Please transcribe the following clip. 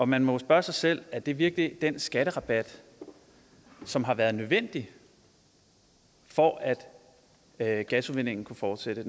man må jo spørge sig selv er det virkelig den skatterabat som har været nødvendig for at at gasudvindingen kunne fortsætte